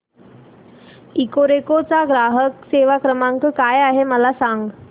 Ecoreco चा ग्राहक सेवा क्रमांक काय आहे मला सांग